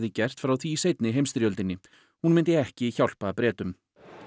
gert frá því í seinni heimsstyrjöldinni hún myndi ekki hjálpa Bretum